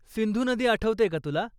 सिंधू नदी आठवतेय का तुला?